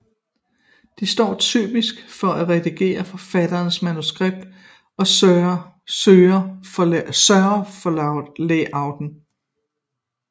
De står typisk for at redigere forfatterens manuskript og sørge for layout